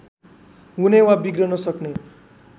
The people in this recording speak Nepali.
हुने वा बिग्रन सक्ने